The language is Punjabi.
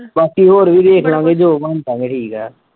ਬਾਕੀ ਹੋਰ ਵੀ ਵੇਖ ਲਵਾਂਗੇ ਜੋ ਬਣਦਾ ਵੀ ਠੀਕ ਆ।